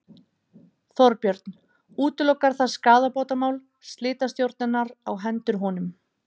Þorbjörn: Útilokar það skaðabótamál slitastjórnarinnar á hendur honum?